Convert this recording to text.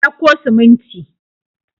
Ka dauko siminti.